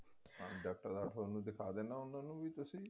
ਉਹਨਾ ਨੂੰ ਵੀ ਤੁਸੀਂ